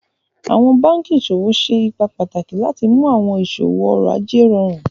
Awọn bankí iṣọwọ ṣé ípà pátàkì láti mú awọn iṣọwọ ọ̀rọ̀-àjẹ̀ rọ̀rùn